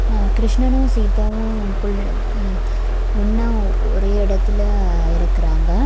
ஆ கிருஷ்ணன்னு சீதாவூ புல்லு ஆ ஒன்னா ஒரே எடத்துலெ இருக்குறாங்க.